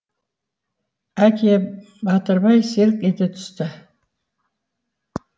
әке батырбай селк ете түсті